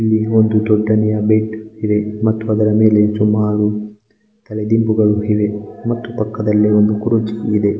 ಇಲ್ಲಿ ಒಂದು ದೊಡ್ಡನೆಯ ಬಿಡ ಇದೆ ಮತ್ತು ಅದರ ಮೇಲೆ ಸುಮಾರು ತಲೆ ದಿಂಬುಗಳು ಇವೆ ಮತ್ತು ಪಕ್ಕದಲಿ ಒಂದು ಕುರ್ಚಿ ಇದೆ.